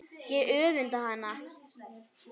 Ég öfunda hana.